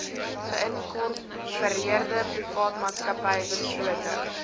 geïnkorpereerde privaatmaatsappy beslote